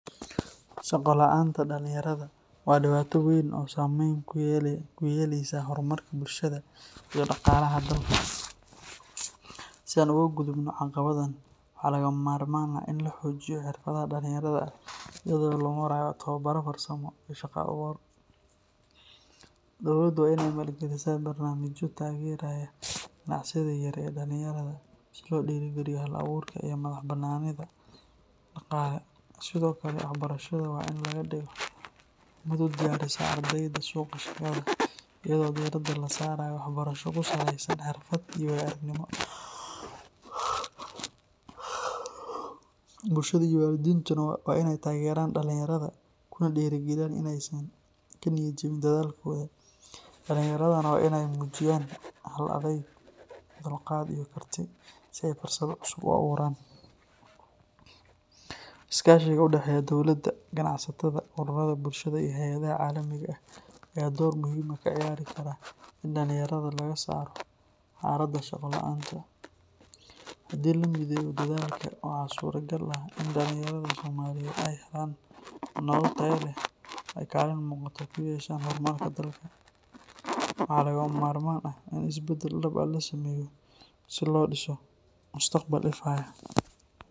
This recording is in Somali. Shaqo la’aanta dhalinyarada waa dhibaato weyn oo saameyn ku yeelaysa horumarka bulshada iyo dhaqaalaha dalka. Si aan uga gudubno caqabaddan, waxaa lagama maarmaan ah in la xoojiyo xirfadaha dhalinyarada iyada oo loo marayo tababaro farsamo iyo shaqo-abuur. Dowladdu waa in ay maalgelisaa barnaamijyo taageeraya ganacsiyada yaryar ee dhalinyarada si loo dhiirrigeliyo hal-abuurka iyo madax-bannaanida dhaqaale. Sidoo kale, waxbarashada waa in laga dhigo mid u diyaarisa ardayda suuqa shaqada, iyadoo diiradda la saarayo waxbarasho ku saleysan xirfad iyo waayo-aragnimo. Bulshada iyo waalidiintuna waa in ay taageeraan dhalinyarada, kuna dhiirrigeliyaan in aysan ka niyad jabin dadaalkooda. Dhalinyaradana waa in ay muujiyaan hal-adayg, dulqaad iyo karti si ay fursado cusub u abuuraan. Iskaashiga u dhexeeya dowladda, ganacsatada, ururada bulshada iyo hay’adaha caalamiga ah ayaa door muhiim ah ka ciyaari kara in dhalinyarada laga saaro xaaladda shaqo la’aanta. Haddii la mideeyo dadaalka, waxaa suuragal ah in dhalinyarada Soomaaliyeed ay helaan nolol tayo leh oo ay kaalin muuqata ku yeeshaan horumarka dalka. Waxaa lagama maarmaan ah in isbeddel dhab ah la sameeyo si loo dhiso mustaqbal ifaya.